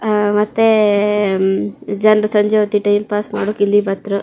ಅಹ್ ಮತ್ತೆ ಜನ್ರು ಸಂಜೆ ಹೊತ್ತಿಗೆ ಟೈಮ್ ಪಾಸ್ ಮಾಡಕ್ ಇಲ್ಲಿ ಬತ್ರು.